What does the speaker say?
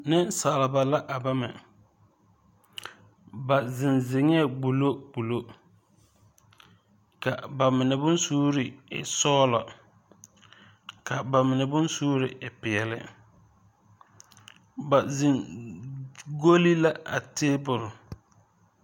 Neŋsalba la a bama ba zeŋ zeŋɛɛ gbullo gbullo ka ba mine bonsuure e sɔglɔ ka ba mine bonsuure e peɛle ba zeŋ golle la a tabole.